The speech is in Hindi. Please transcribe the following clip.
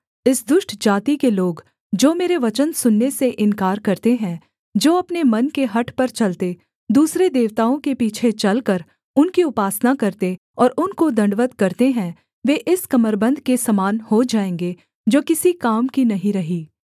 इस दुष्ट जाति के लोग जो मेरे वचन सुनने से इन्कार करते हैं जो अपने मन के हठ पर चलते दूसरे देवताओं के पीछे चलकर उनकी उपासना करते और उनको दण्डवत् करते हैं वे इस कमरबन्द के समान हो जाएँगे जो किसी काम की नहीं रही